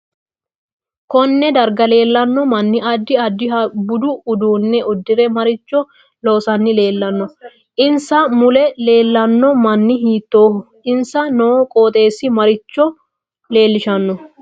KOnne darga leelanno manni addi addiha budu uduune uddire maricho loosani leelanno insa mule leelanno mini hitooho insa noo qoxeesi maricho leelishanno